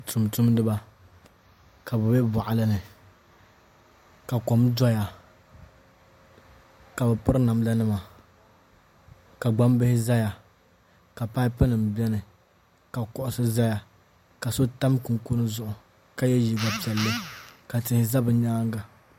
Tumtumdiba ka bi bɛ boɣali ni ka kom doya ka bi piri namda nima ka gbambihi ʒɛya ka paipu nim biɛni ka kuɣusi ʒɛya ka so tam kunikuni zuɣu ka yɛ liiga piɛlli ka tihi ʒɛ bi nyaanga